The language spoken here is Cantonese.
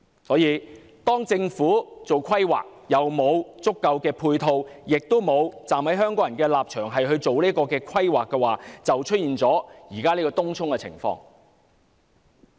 由於政府在規劃上沒有足夠配套，亦沒有從香港人的立場作出規劃，所以便出現東涌現時的情況。